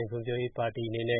င်ဖွံဖြိုးရေးပါတီ (USDP) အနေနဲ